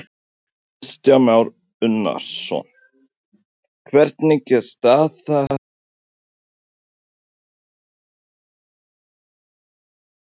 Kristján Már Unnarsson: Hvernig er staða fyrirtækisins, er það að fara í þrot?